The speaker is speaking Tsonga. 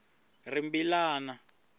rimbilana